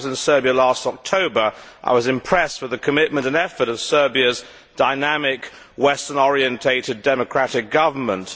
When I was in Serbia last October, I was impressed with the commitment and effort of Serbia's dynamic, western orientated democratic government.